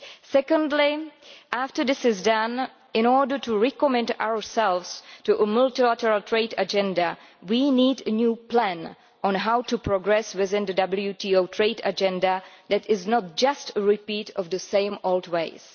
Secondly, after this is done, in order to recommit ourselves to a multilateral trade agenda, we need a new plan on how to progress within the WTO trade agenda that is not just a repeat of the same old ways.